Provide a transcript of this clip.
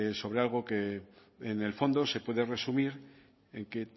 sobre algo que en el fondo se puede resumir en que